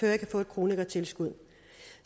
jeg kan få et kronikertilskud